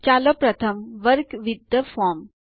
ચાલો પ્રથમ work with the form